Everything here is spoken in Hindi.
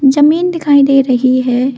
जमीन दिखाई दे रही है।